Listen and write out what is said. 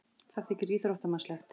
Það þykir íþróttamannslegt.